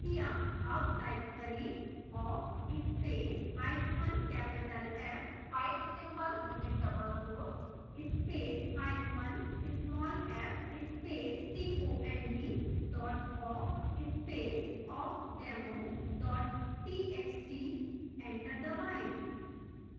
awk type करें: awk space hyphen capital f pipe symbol double quotes में space hyphen small f space cond dot awk space awkdemo dot txt enter दबाएं